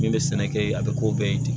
Min bɛ sɛnɛ kɛ a bɛ ko bɛɛ ye ten